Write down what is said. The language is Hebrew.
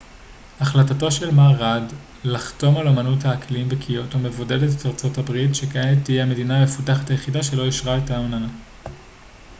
החלטתו של מר ראד לחתום על אמנת האקלים בקיוטו מבודדת את ארצות הברית שכעת תהיה המדינה המפותחת היחידה שלא אשררה את האמנה